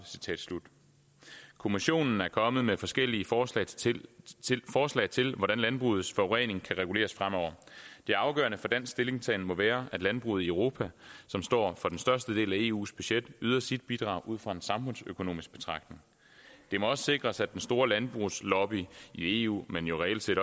kommissionen er kommet med forskellige forslag til hvordan landbrugets forurening kan reguleres fremover det afgørende for dansk stillingtagen må være at landbruget i europa som står for den største del af eus budget yder sit bidrag ud fra en samfundsøkonomisk betragtning det må også sikres at den store landbrugslobby i eu men jo